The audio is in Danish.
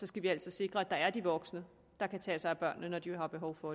skal vi altså sikre at der er de voksne der kan tage sig af børnene når de har behov for